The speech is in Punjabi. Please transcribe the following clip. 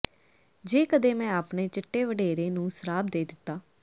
ਜੇ ਕਦੇ ਮੈਂ ਆਪਣੇ ਚਿੱਟੇ ਵਡੇਰੇ ਨੂੰ ਸਰਾਪ ਦੇ ਦਿੱਤਾ